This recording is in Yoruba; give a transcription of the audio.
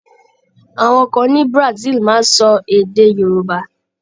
Àwọn kan ní Brazil máa ń sọ èdẹ̀ Yorùbá.